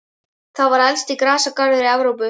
Það var elsti grasagarður í Evrópu.